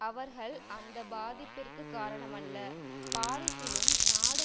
அவர்கள் அந்த பாதிப்பிற்கு காரணமல்ல பாரிசிலும் நாடு